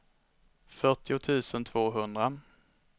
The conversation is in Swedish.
fyrtio tusen tvåhundra